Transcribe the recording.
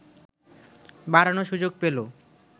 বাড়ানোর সুযোগ পেল